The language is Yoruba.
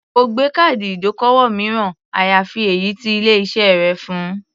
Kò gbé káàdì ìdókòwò mìíràn, àyàfi èyí tí ilé-iṣẹ́ rẹ̀ fun.